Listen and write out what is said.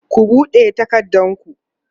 ku buɗe takardun ku!